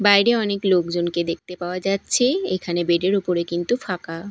বাইরে অনেক লোকজনকে দেখতে পাওয়া যাচ্ছে এইখানে বেড -এর ওপরে কিন্তু ফাঁকা।